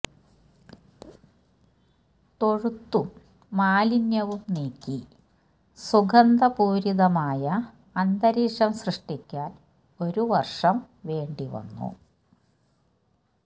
തൊഴുത്തും മാലിന്യവും നീക്കി സുഗന്ധപൂരിതമായ അന്തരീക്ഷം സൃഷ്ടിക്കാന് ഒരു വര്ഷം വേണ്ടിവന്നു